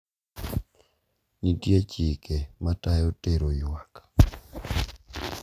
Nitie chike matayo tero yuak.